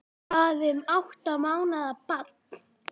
Hvað um átta mánaða bann?